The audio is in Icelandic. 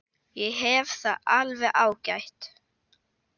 Ég hef það alveg ágætt.